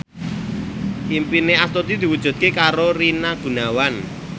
impine Astuti diwujudke karo Rina Gunawan